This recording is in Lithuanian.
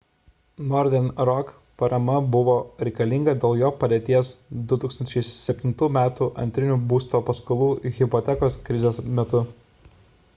northern rock parama buvo reikalinga dėl jo padėties 2007 m antrinių būsto paskolų hipotekos krizės metu